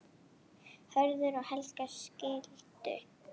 Hörður og Helga skildu.